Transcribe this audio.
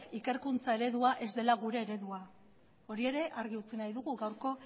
ikerkuntza eredua ez dela gure eredua hori ere argi utzi nahi dugu gaurko